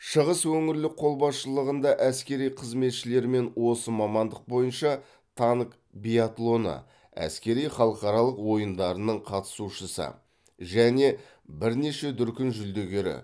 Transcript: шығыс өңірлік қолбасшылығында әскери қызметшілермен осы мамандық бойынша танк биатлоны әскери халықаралық ойындарының қатысушысы және бірнеше дүркін жүлдегері